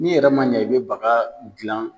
N'i yɛrɛ man ɲɛ i bɛ baga gilan